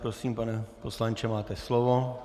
Prosím, pane poslanče, máte slovo.